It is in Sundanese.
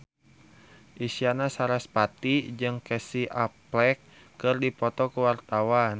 Isyana Sarasvati jeung Casey Affleck keur dipoto ku wartawan